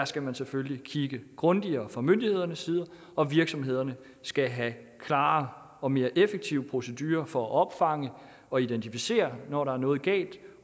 skal man selvfølgelig kigge grundigere fra myndighedernes side og virksomhederne skal have klarere og mere effektive procedurer for at opfange og identificere når der er noget galt